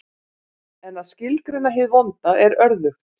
En að skilgreina hið vonda er örðugt.